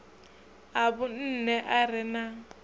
a vhunṋe a re na